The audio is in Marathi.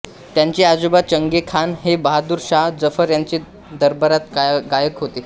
त्यांचे आजोबा चंगे खान हे बहादूर शाह जफर यांच्या दरबारात गायक होते